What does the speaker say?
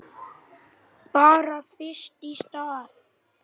Bara fyrst í stað.